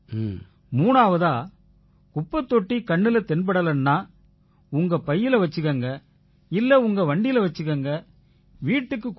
மூணாவதா குப்பைத் தொட்டி கண்ணுல தென்படலைன்னா உங்க பையில வச்சுக்குங்க இல்லை உங்க வண்டியில வச்சுக்குங்க வீட்டுக்குக் கொண்டு வாங்க